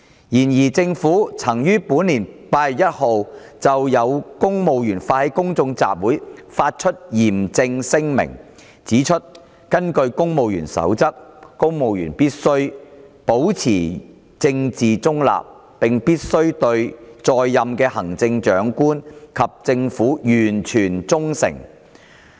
然而，政府曾於本年8月1日就有公務員發起公眾集會發出嚴正聲明，指出根據《公務員守則》，公務員必須保持政治中立，並必須對在任的行政長官及政府完全忠誠。